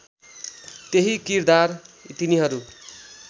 त्यहि किरदार तिनीहरू